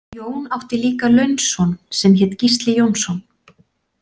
Jón átti líka launson sem hét Gísli Jónsson.